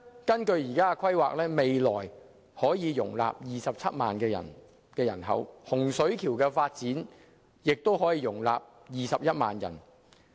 根據現時的規劃，未來東涌將可以容納27萬人口，而洪水橋的發展項目亦可以容納21萬人口。